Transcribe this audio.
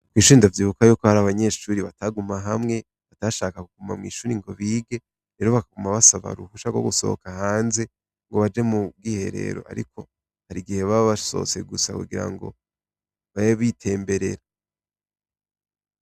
Kw'ishure ndavyibuka yuko hari abanyeshure bataguma hamwe, bakaguma mw'ishure ngo bige, rero bakaguma basaba uruhusha rwo gusohoka hanze, ngo baje mu bwiherero, ariko hari igihe baba basohotse gusa kugira ngo, babe bitembererera